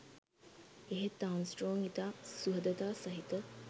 එහෙත් ආම්ස්ට්‍රෝං ඉතා සුහදතා සහිත